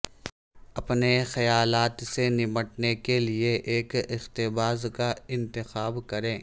اپنے خیالات سے نمٹنے کے لئے ایک اقتباس کا انتخاب کریں